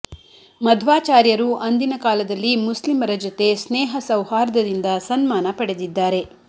ಮಧ್ವಾಚಾರ್ಯರು ಅಂದಿನ ಕಾಲದಲ್ಲಿ ಮುಸ್ಲಿಮರ ಜತೆ ಸ್ನೇಹ ಸೌಹಾರ್ದದಿಂದ ಸನ್ಮಾನ ಪಡೆದಿದ್ದಾರೆ